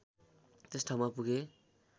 त्यस ठाउँमा पुगे